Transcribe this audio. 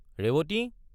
Revati!